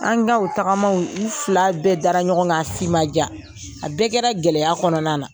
An ka o tagamaw, u fila bɛɛ dara ɲɔgɔn kan. A si ma ja. A bɛɛ kɛra gɛlɛya kɔnɔna na.